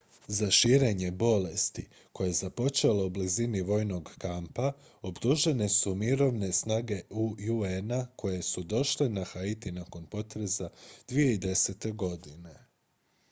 za širenje bolesti koja je započela u blizini vojnog kampa optužene su mirovne snage un-a koje su došle na haiti nakon potresa 2010. godine